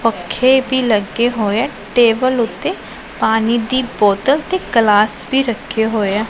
ਪੱਖੇ ਵੀ ਲੱਗੇ ਹੋਏ ਟੇਬਲ ਉੱਤੇ ਪਾਣੀ ਦੀ ਬੋਤਲ ਤੇ ਗਲਾਸ ਵੀ ਰੱਖੇ ਹੋਏ ਆ।